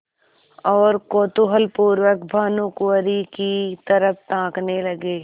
और कौतूहलपूर्वक भानुकुँवरि की तरफ ताकने लगे